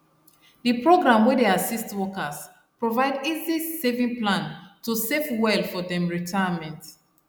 the program wey dey assist workers provide easy saving plan to safe well for dem retirement